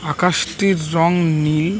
আকাশটির রং নীল ।